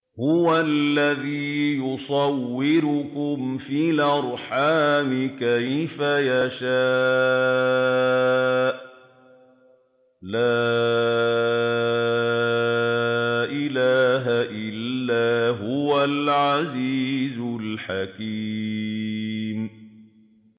هُوَ الَّذِي يُصَوِّرُكُمْ فِي الْأَرْحَامِ كَيْفَ يَشَاءُ ۚ لَا إِلَٰهَ إِلَّا هُوَ الْعَزِيزُ الْحَكِيمُ